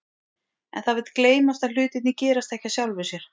En það vill gleymast að hlutirnir gerast ekki af sjálfu sér.